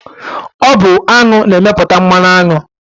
Ọ bụ aṅụ na-emepụta mmanụ aṅụ